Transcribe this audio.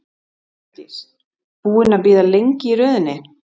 Hjördís: Búinn að bíða lengi í röðinni?